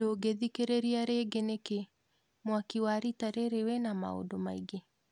Ndungĩthikĩrĩria rĩngi nĩki mwaki wa rita rĩrĩ wĩna maũndũ maingĩ?